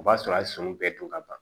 O b'a sɔrɔ a ye sɔmi bɛɛ dun ka ban